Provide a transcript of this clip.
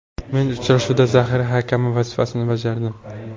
Men uchrashuvda zaxira hakami vazifasini bajardim.